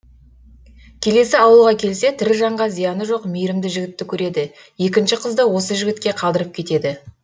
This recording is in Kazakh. келесі ауылға келсе тірі жанға зияны жоқ мейірімді жігітті көреді екінші қызды осы жігітке қалдырып кетеді